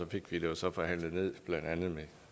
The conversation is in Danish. fik vi det så forhandlet ned med blandt andet